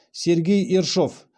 сергей ершов